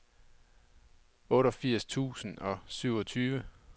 otteogfirs tusind og syvogtyve